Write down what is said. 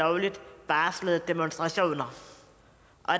lovligt varslede demonstrationer